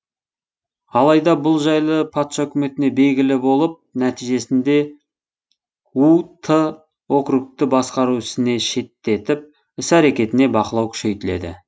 алайда бұл жайлы патша үкіметіне белгілі болып нәтижесінде у ты округті басқару ісіне шеттетіп іс әрекетіне бақылау күшейтіледі